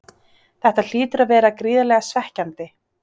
Þetta hlýtur að vera gríðarlega svekkjandi?